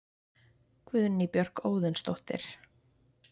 Guðný Björk Óðinsdóttir